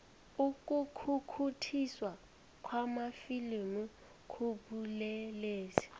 ukukhukhuthiswa kwamafilimu kubulelesi